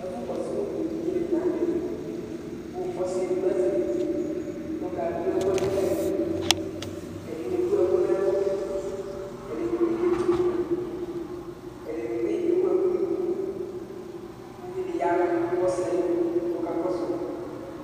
Ɛfʋkɔsʋ evidzenɩ la nʋ tɛ kʋ ɔsɩ edigbo azɛ evidze kʋ ɔkadʋ ɛkʋɛdɩ ka yɩ nʋ unuku Ɛdɩnɩ ewu ɛkʋ nʋ ɛlʋ, ɛdɩnɩ bɩ ketsuku ma Ɛdɩnɩ bɩ ewu ɛkʋ nʋ unuku kʋ uvi dɩ ya nʋ ɔsɩ yɛ ayidu kʋ ɔkakɔsʋ yɩ